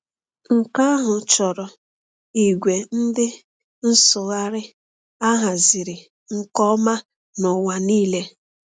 Nke ahụ chọrọ ìgwè ndị nsụgharị a haziri nke ọma n’ụwa niile.